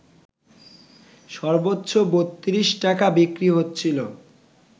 সর্বোচ্চ ৩২ টাকা বিক্রি হচ্ছিল